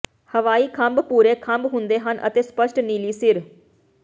ਹਵਾਈ ਖੰਭ ਭੂਰੇ ਖੰਭ ਹੁੰਦੇ ਹਨ ਅਤੇ ਸਪਸ਼ਟ ਨੀਲੀ ਸਿਰ